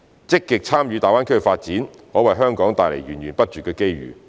積極參與大灣區發展，可為香港帶來源源不絕的機遇。